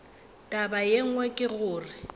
taba ye nngwe ke gore